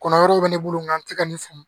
Kɔnɔ wɛrɛw bɛ ne bolo nka n tɛ ka nin famu